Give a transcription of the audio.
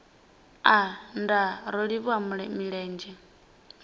aa nndaa ro livhuwa milenzhe